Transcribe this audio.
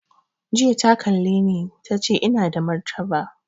Jiya ta kalle ni ta ce mun ina da martaba